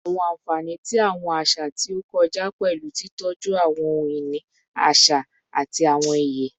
Awọn anfani ti awọn aṣa aṣa ti o kọja pẹlu titọju awọn ohun-ini aṣa ati awọn iye